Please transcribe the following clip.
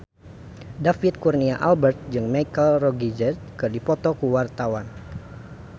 David Kurnia Albert jeung Michelle Rodriguez keur dipoto ku wartawan